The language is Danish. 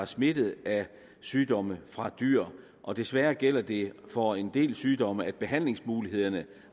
smittet af sygdomme fra dyr og desværre gælder det for en del sygdomme at behandlingsmulighederne